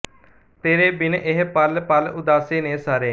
ਤੇਰੇ ਬਿਨ ਇਹ ਪਲ ਪਲ ਉਦਾਸੇ ਨੇ ਸਾਰੇ